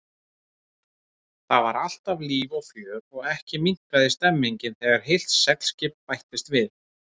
Þar var alltaf líf og fjör og ekki minnkaði stemmningin þegar heilt seglskip bættist við.